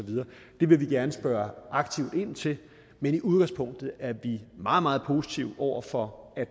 det vil vi gerne spørge aktivt ind til men i udgangspunktet er vi meget meget positive over for